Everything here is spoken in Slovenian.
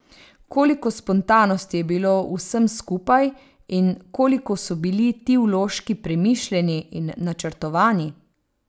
Koliko spontanosti je bilo v vsem skupaj in koliko so bili ti vložki premišljeni in načrtovani?